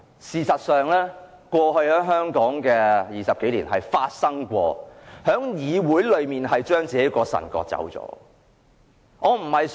事實上，香港過去20多年是發生過議會將本身的腎臟割走。